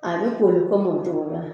A bɛ komi ko mɔgɔ tɔgɔ la.